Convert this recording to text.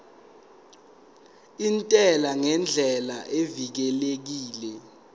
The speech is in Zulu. intela ngendlela evikelekile